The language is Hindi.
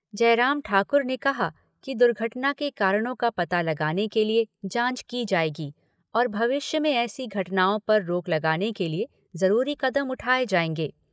जयराम ठाकुर ने कहा कि दुर्घटना के कारणों का पता लगाने के लिए जाँच की जाएगी और भविष्य में ऐसी घटनाओं पर रोक लगाने के लिए जरूरी कदम उठाए जाएंगे।